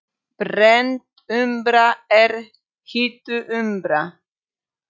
Brennd úmbra er hituð úmbra.